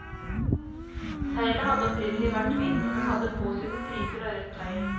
Seilet hadde opprinnelig vært hvitt, men hadde påsydde striper av rødt tøy.